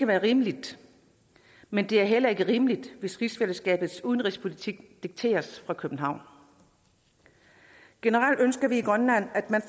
være rimeligt men det er heller ikke rimeligt hvis rigsfællesskabets udenrigspolitik dikteres fra københavn generelt ønsker vi i grønland at man